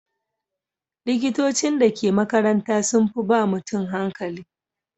Likitocin da ke makaranta sun fi ba ma mutum hankali.